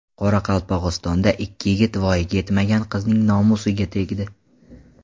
Qoraqalpog‘istonda ikki yigit voyaga yetmagan qizning nomusiga tegdi.